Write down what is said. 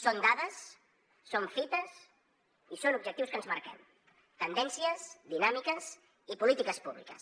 són dades són fites i són objectius que ens marquem tendències dinàmiques i polítiques públiques